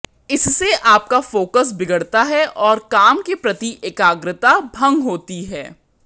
इससे आपका फोकस बिगड़ता है और काम के प्रति एकाग्रता भंग होती है